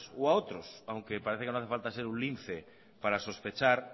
u a otros aunque parece que no hace falta ser un lince para sospechar